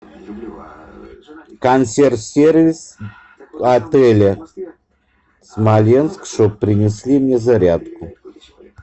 консьерж сервис в отеле смоленск чтобы принесли мне зарядку